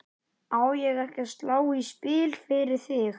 Á ég ekki að slá í spil fyrir þig?